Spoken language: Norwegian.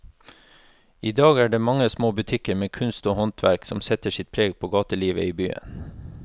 I dag er det de mange små butikkene med kunst og håndverk som setter sitt preg på gatelivet i byen.